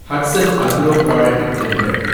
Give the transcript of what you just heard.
Hatsun Agro Product limited